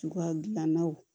Cogoya gilannaw